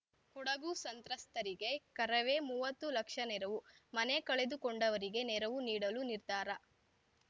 ಕೊಡಗು ಸಂತ್ರಸ್ತರಿಗೆ ಕರವೇ ಮುವತ್ತು ಲಕ್ಷ ನೆರವು ಮನೆ ಕಳೆದುಕೊಂಡವರಿಗೆ ನೆರವು ನೀಡಲು ನಿರ್ಧಾರ